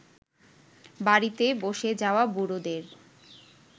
বাড়িতে বসে যাওয়া বুড়োদের